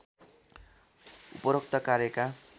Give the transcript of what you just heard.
उपरोक्त कार्यका